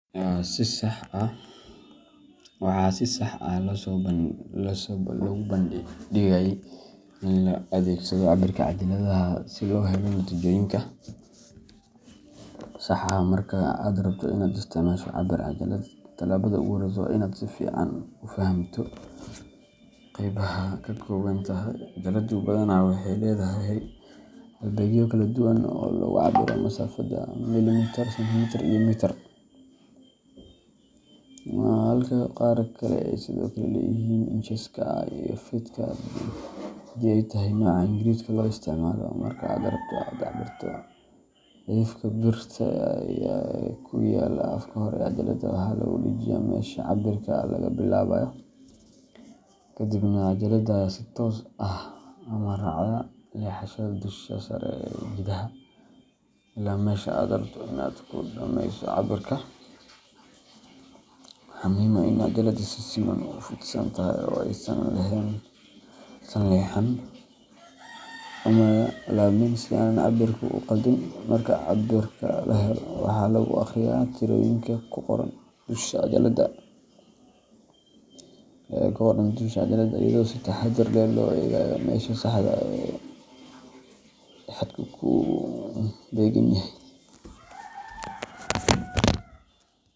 Waxaa si sax ah ayaa loogu baahanyahay in loo adeegsado cabbirka cajaladaha si loo helo natiijooyin sax ah. Marka aad rabto in aad isticmaasho cabbir-cajalad, tallaabada ugu horreysa waa in aad si fiican u fahamto qaybaha ay ka kooban tahay. Cajaladdu badanaa waxay leedahay halbeegyo kala duwan oo lagu cabbiro masaafada – millimitir, sentimitir, iyo mitir – halka qaar kale ay sidoo kale leeyihiin incheska iyo feetka haddii ay tahay nooca Ingiriisiga loo isticmaalo. Marka aad rabto in aad cabbirto, cidhifka birta ah ee ku yaalla afka hore ee cajaladda ayaa lagu dhajinayaa meesha cabbirka laga bilaabayo, kadibna cajaladda ayaa si toos ah ama raacda leexashada dusha sare loogu jiidayaa ilaa meesha aad rabto in aad ku dhammayso cabbirka. Waxaa muhiim ah in cajaladda si siman u fidsan tahay oo aysan leexan ama laabmin, si aanay cabbirka u khaldin. Marka cabbirka la helo, waxaa lagu akhriyaa tirooyinka ku qoran dusha cajaladda, iyadoo si taxaddar leh loo eegayo meesha saxda ah ee xadku ku beegan yahay.